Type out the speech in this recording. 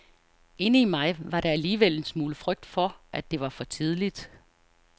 Inde i mig var der alligevel en smule frygt for, at det var for tidligt.